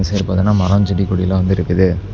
இந்த சைடு பாத்தீனா மரம் செடி கொடிலா வந்து இருக்குது.